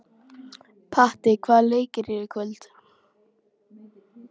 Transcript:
Patti, hvaða leikir eru í kvöld?